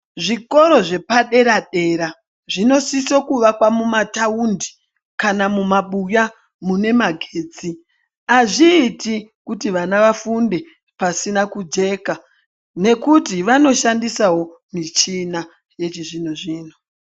Zvikora zvepadera dera zvinosisa kuakirwa mumataundi kana mumabuya mune magetsi . Azviiti kuti vana vafunde pasina kujeka ngokuti vanoshandisawo michina yechizvino zvino.